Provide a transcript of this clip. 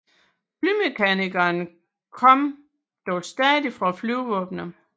Flymekanikerne kom dog stadig fra Flyvevåbnet